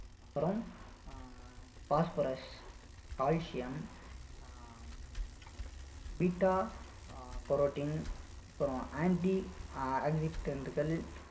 அப்புறம் uh phosphorus, calcium ah beta-carotene அப்புறம் anti